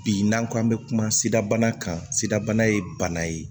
Bi n'an ko an bɛ kuma sidabana kan sidabana ye bana ye